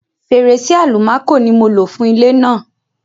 Fèrèsé-àlùmákò ni mo lò fún ilé náà.